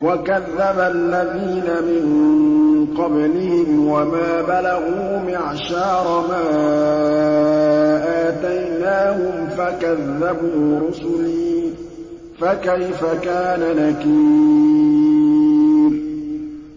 وَكَذَّبَ الَّذِينَ مِن قَبْلِهِمْ وَمَا بَلَغُوا مِعْشَارَ مَا آتَيْنَاهُمْ فَكَذَّبُوا رُسُلِي ۖ فَكَيْفَ كَانَ نَكِيرِ